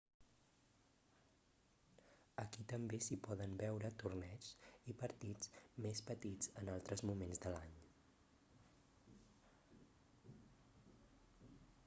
aquí també s'hi poden veure torneigs i partits més petits en altres moments de l'any